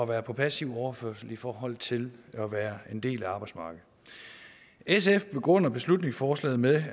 være på passiv overførsel i forhold til at være en del af arbejdsmarkedet sf begrunder beslutningsforslaget med